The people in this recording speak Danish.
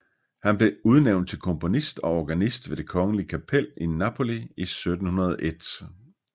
Han blev udnævnt til komponist og organist ved det kongelige kapel i Napoli i 1701